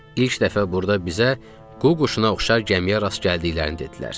İlk dəfə burda bizə qu quşuna oxşar gəmiyə rast gəldiklərini dedilər.